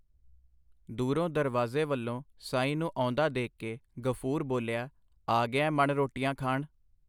ਦੂਰੋਂ ਦਰਵਾਜ਼ੇ ਵੱਲੋਂ ਸਾਈਂ ਨੂੰ ਆਉਂਦਾ ਦੇਖ ਕੇ ਗ਼ਫੂਰ ਬੋਲਿਆ, ਆ ਗਿਐ ਮਣ ਰੋਟੀਆਂ ਖਾਣ.